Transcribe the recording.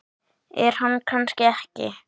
En kannski ekki.